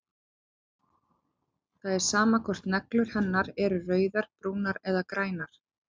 Það er sama hvort neglur hennar eru rauðar, brúnar eða grænar.